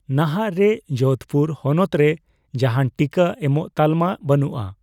ᱱᱟᱦᱟᱜ ᱨᱮ ᱡᱳᱫᱷᱯᱩᱨ ᱦᱚᱱᱚᱛ ᱨᱮ ᱡᱟᱦᱟᱱ ᱴᱤᱠᱟᱹ ᱮᱢᱚᱜ ᱛᱟᱞᱢᱟ ᱵᱟᱹᱱᱩᱜᱼᱟ ᱾